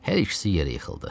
Hər ikisi yerə yıxıldı.